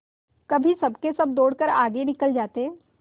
कभी सबके सब दौड़कर आगे निकल जाते